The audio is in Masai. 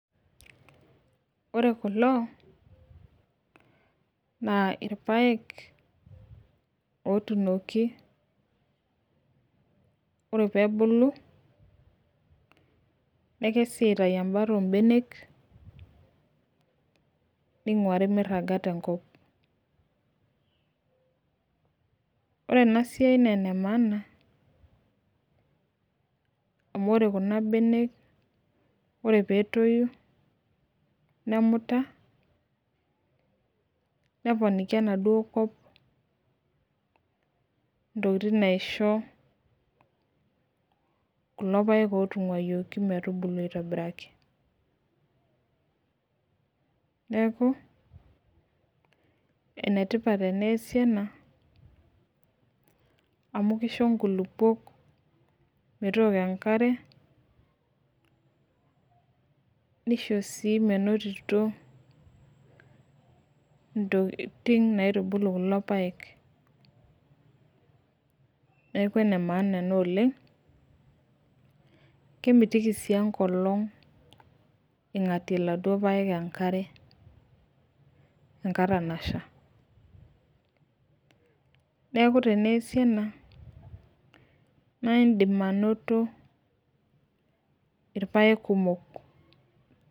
Ore kulo naa irpaek, otuunoki, ore peebulu, nekesi aitayu ebata oobenek, ningurari miraga te nkop. ore ena siai naa ene maana. amu ore Kuna benek, ore peetoni, nemuta, neponiki enaduoo kop ntokitin naisho kulo paek, ootunguayioki metuulbulu aitobiraki. neeku ene tipat eneesi ena amu kisho nkulupuok metooko enkare nisho sii menotito. ntokitun nkaitubulu kulo paek. neeku ene maana ena oleng, kemitiki sii enkolong',ingatie iladuok apek enkare enkata nasha. neeku tneesi ena naa idim anoto irpaek kumok.